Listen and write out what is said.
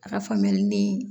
A ka faamuyali ni